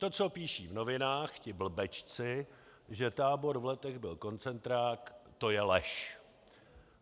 To, co píší v novinách ti blbečci, že tábor v Letech byl koncentrák, to je lež.